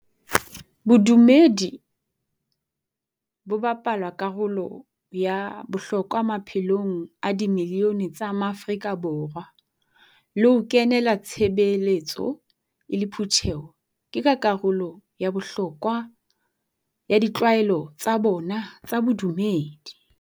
Bodumedi bo bapala karolo ya bohlokwa maphelong a di milione tsa maAfrika Borwa, le ho kenela tshebeletso e le phutheho ke ka karolo ya bohlokwa ya ditlwaelo tsa bona tsa bodumedi.